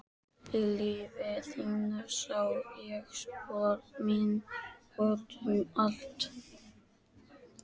Í lífi þínu sá ég spor mín út um allt.